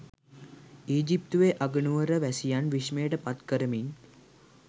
ඊජිප්තුවේ අගනුවර වැසියන් විශ්මයට පත් කරමින්